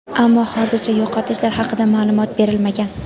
Ammo hozircha yo‘qotishlar haqida ma’lumot berilmagan.